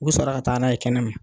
U bi sɔrɔ ka taara n'a ye kɛnɛma.